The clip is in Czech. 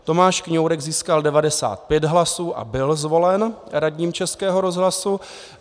Tomáš Kňourek získal 95 hlasů a byl zvolen radním Českého rozhlasu.